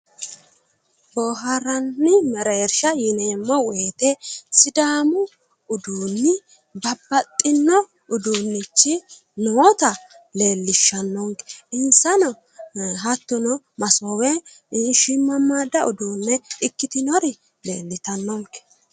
Boohaarranni mereersha yineemmmo woyite sidaamu uduunni babbaxxino uduunnichi noota leellishshannonke insano hattono masoowe shiimmammaadda uduunne ikitinori leellitannonke.